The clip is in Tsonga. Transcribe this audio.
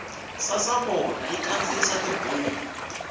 sasavona yi kandziyisa tibuku